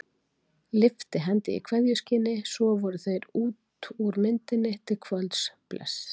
Lyftu hendi í kveðjuskyni, svo voru þeir út úr myndinni til kvölds, bless.